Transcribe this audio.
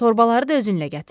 Torbaları da özünlə gətir.